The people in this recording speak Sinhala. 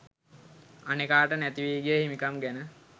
අනෙකාට නැතිවී ගිය හිමිකම් ගැන